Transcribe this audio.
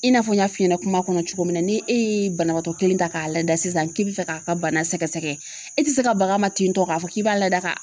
I n'a fɔ n y'a f'i ɲɛna kuma kɔnɔ cogo min na ni e ye banabaatɔ kelen ta k'a lada sisan k'i bi fɛ k'a ka bana sɛgɛsɛgɛ e ti se ka bagan ma ten tɔ k'a fɔ k'i b'a lada ka